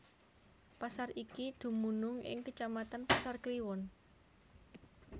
Pasar iki dumunung ing kecamatan Pasar Kliwon